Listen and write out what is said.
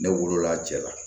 Ne wolo la jɛla